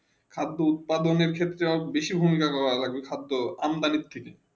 খাদ উৎপাদন ক্ষেত্রে বেশি ভূমিকা লাগবে খাদ আমদানি থেকে